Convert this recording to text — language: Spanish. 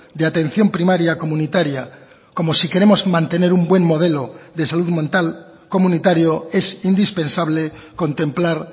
de atención primaria comunitaria como si queremos mantener un buen modelo de salud mental comunitario es indispensable contemplar